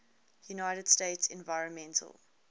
united states environmental